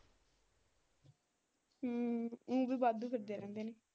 ਹਮ ਉਹ ਵੀ ਵਾਧੂ ਫਿਰਦੇ ਰਹਿੰਦੇ।